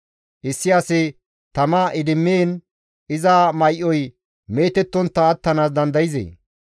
Issi asi tama idimmiin iza may7oy meetettontta attanaas dandayzee?